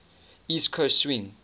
east coast swing